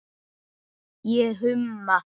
Ég humma.